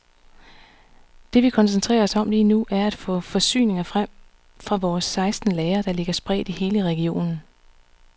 Det vi koncentrerer os om lige nu, er at få forsyninger frem fra vores seksten lagre, der ligger spredt i hele regionen.